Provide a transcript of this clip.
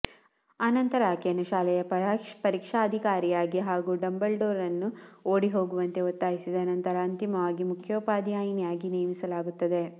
ಅನಂತರ ಆಕೆಯನ್ನು ಶಾಲೆಯ ಪರೀಕ್ಷಾಧಿಕಾರಿಯಾಗಿ ಹಾಗು ಡಂಬಲ್ಡೋರ್ ನನ್ನು ಓಡಿಹೋಗುವಂತೆ ಒತ್ತಾಯಿಸಿದ ನಂತರ ಅಂತಿಮವಾಗಿ ಮುಖ್ಯೋಪಾಧ್ಯಾಯಿನಿಯಾಗಿ ನೇಮಿಸಲಾಗುತ್ತದೆ